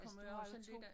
Kommer jo også lidt an